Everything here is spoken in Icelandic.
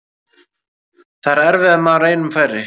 Það er erfiðara ef maður er einum færri.